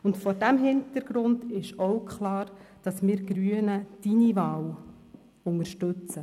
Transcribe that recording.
Vor diesem Hintergrund ist auch klar, dass wir Grünen Ihre Wahl unterstützen.